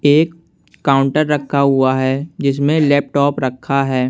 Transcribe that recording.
एक काउंटर रखा हुआ है जिसमें लेपटॉप रखा है।